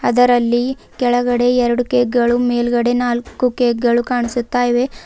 ಅದರಲ್ಲಿ ಕೆಳಗಡೆ ಎರಡು ಕೇಕ್ ಗಳು ಮೇಲ್ಗಡೆ ನಾಲ್ಕು ಕೇಕ್ ಗಳು ಕಾಣಿಸುತ್ತ ಇವೆ.